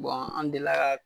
Bɔn an delila ka